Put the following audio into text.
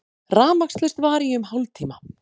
Rafmagnslaust var í um hálftíma